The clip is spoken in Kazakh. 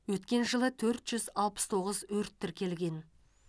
өткен жылы төрт жүз алпыс тоғыз өрт тіркелген